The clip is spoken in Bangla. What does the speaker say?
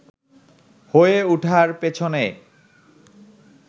হয়ে উঠার পেছনে